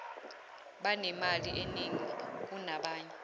banemali eningi kunabanye